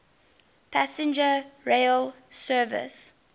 passenger rail service